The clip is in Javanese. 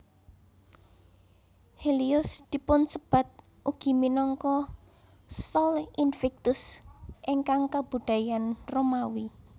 Helios dipunsebat ugi minangka Sol Invictus ing kabudayan Romawi